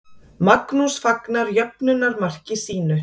Magnús fagnar jöfnunarmarki sínu.